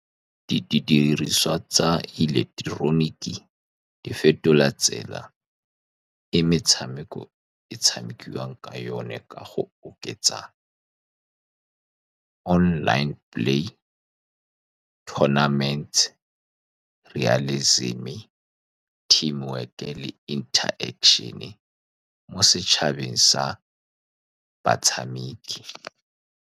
Didiriswa tsa ileketeroniki, di fetola tsela e metshameko e tshamekiwang ka yone ka go oketsa online play tounaments, realizim-e, team work le interaction-e mo setšhabeng sa batshamiki.